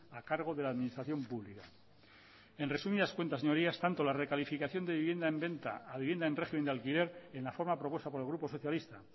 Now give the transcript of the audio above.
a cargo de la administración pública en resumidas cuentas señorías es tanto la recalificación de vivienda en venta a vivienda en régimen de alquiler en la forma propuesta por el grupo socialista